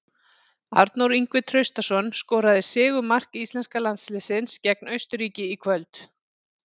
Arnór Ingvi Traustason skoraði sigurmark íslenska landsliðsins gegn Austurríki í kvöld.